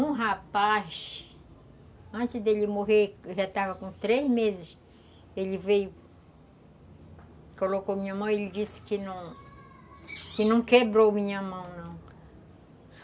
Um rapaz, antes dele morrer, que já estava com três meses, ele veio, colocou minha mão e ele disse que não... que não quebrou minha mão, não.